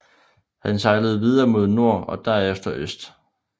Han sejlede videre mod nord og derefter øst